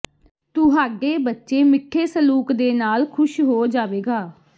ਤੁਹਾਡੇ ਬੱਚੇ ਮਿੱਠੇ ਸਲੂਕ ਦੇ ਨਾਲ ਖੁਸ਼ ਹੋ ਜਾਵੇਗਾ